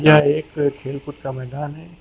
यह एक खेल कूद का मैदान है।